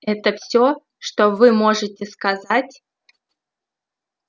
это всё что вы можете сказать